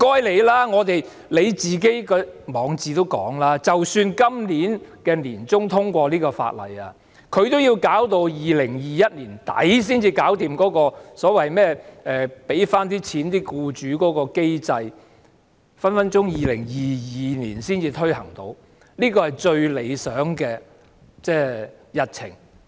然而，局長在他的網誌也表示，即使在今年年中通過這項法案，也要在2021年年底才能解決補償僱主的機制，隨時要2022年才能推行，這是最理想的日程。